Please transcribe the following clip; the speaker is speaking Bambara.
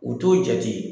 U t'o jate